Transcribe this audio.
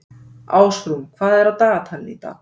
Ásrún, hvað er á dagatalinu í dag?